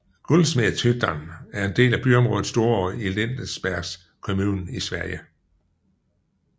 Guldsmedshyttan er en del af byområdet Storå i Lindesbergs kommun i Sverige